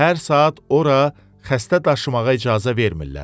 Hər saat ora xəstə daşımağa icazə vermirlər.